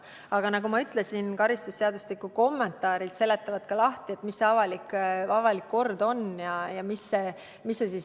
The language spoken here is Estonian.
Aga nagu ma ütlesin, seletavad karistusseadustiku kommentaarid lahti, mis see avalik kord on ja mis juhtuma peab.